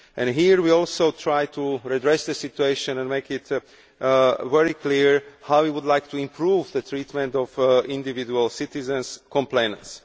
Here, too, we try to redress the situation, and we have made very clear how we would like to improve the treatment of individual citizens' complaints.